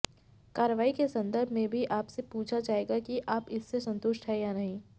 कार्रवाई के संदर्भ में भी आपसे पूछा जाएगा कि आप इससे संतुष्ट हैं या नहीं